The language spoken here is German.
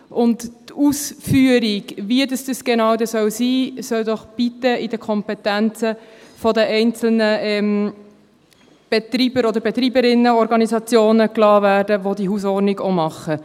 Die Ausführung, wie es dann genau sein soll, soll doch bitte in der Kompetenz der einzelnen Betreiber- oder Betreiberinnen-Organisationen bleiben, die diese Hausordnung machen.